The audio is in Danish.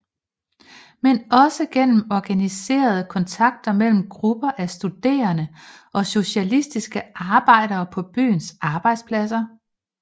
Men også gennem organiserede kontakter mellem grupper af studerende og socialistiske arbejdere på byens arbejdspladser